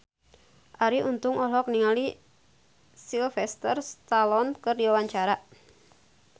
Arie Untung olohok ningali Sylvester Stallone keur diwawancara